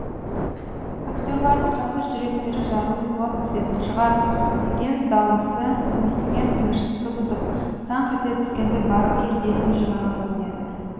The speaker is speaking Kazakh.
актерлардың қазір жүректері жарылып құлап түсетін шығар деген дауысы мүлгіген тыныштықты бұзып саңқ ете түскенде барып жұрт есін жиған көрінеді